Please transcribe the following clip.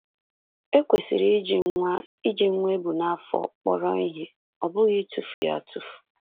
E kwesịrị iji nwa e iji nwa e bu n’afọ kpọrọ ihe, ọ bụghị ịtụfu ya atụfu.